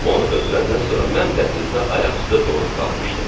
Onu ötürəndən sonra mən dəhlizdə ayaq üstə donub qalmışdım.